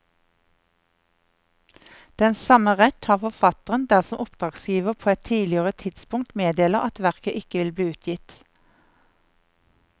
Den samme rett har forfatteren dersom oppdragsgiver på et tidligere tidspunkt meddeler at verket ikke vil bli utgitt.